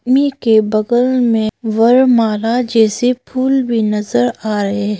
मी के बगल में वर्णमाला जैसे फूल बिनसर आए--